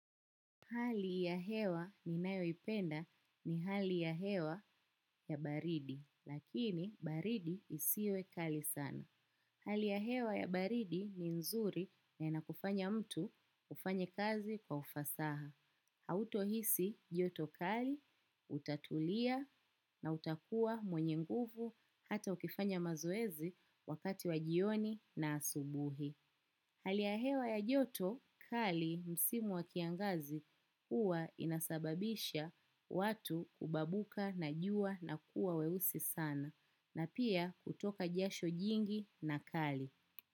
Hali ya hewa ninayoipenda ni hali ya hewa ya baridi lakini baridi isiyo kali sana. Hali ya hewa ya baridi ni nzuri na inakufanya mtu ufanye kazi kwa ufasaha. Hautohisi joto kali, utatulia na utakuwa mwenye nguvu, hata ukifanya mazoezi wakati wa jioni na asubuhi. Hali ya hewa ya joto, kali msimu wa kiangazi huwa inasababisha watu kubabuka na jua na kuwa weusi sana na pia kutoka jasho jingi na kali.